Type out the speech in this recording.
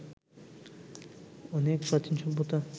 অনেক প্রাচীন সভ্যতা